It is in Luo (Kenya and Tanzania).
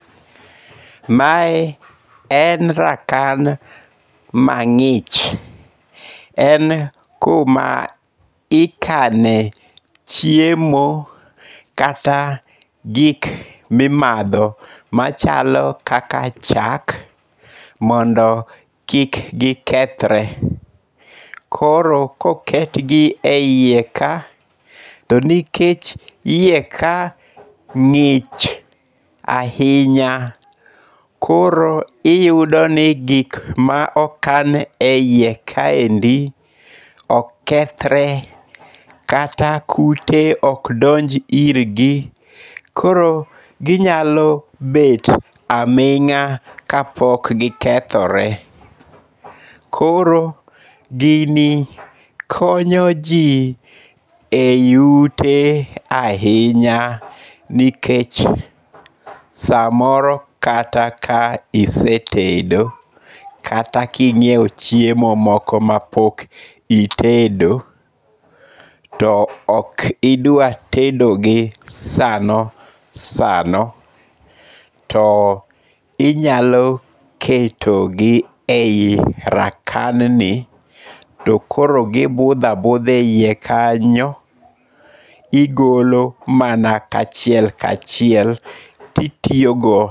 Mae en rakan mang'ich. En kuma ikane chiemo kata gik mimadho machalo kaka chak, mondo kik gikethre, koro koketgi e iye ka, to nikech iye ka ng'ich ahinya, koro iyudoni gik ma okan e iye kaendi, ok kethre kata kute ok donj irgi. Koro ginyalo bet aming'a kapok gikethore. Koro gini konyo ji ei ute ahinya nikech samoro kata ka isetedo, kata king'iewo chiemo moko ma pok itedo, to ok idwa tedogi sano sano, to inyalo ketogi ei rakanni, to koro gibudho abudha e iye kanyo. Igolo mana kachiel kachiel kitiyogo.